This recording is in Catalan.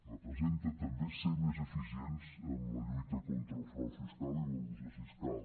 representa també ser més eficients en la lluita contra el frau fiscal i l’elusió fiscal